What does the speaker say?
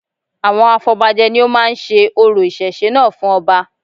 Àwọn afọbajẹ ni ó máa ń se orò ìṣẹ̀ṣe náà fún ọba